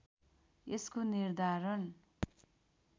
यसको निर्धारण